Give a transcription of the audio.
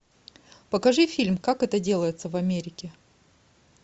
покажи фильм как это делается в америке